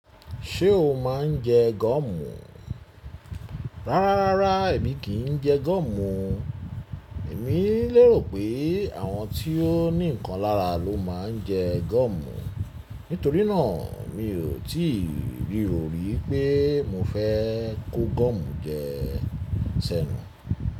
Ṣé o máa ń jẹ gọ́mù? Rárá rárá èmi kì í jẹ gum. Èmi lérò pé àwọn tí ó ní nǹkan lára ló máa ń jẹ gum. Nítorí náà mi ò tíì rí òrí pé mo fẹ́ kó gum jẹ sẹ́nu.